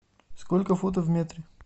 сколько футов в метре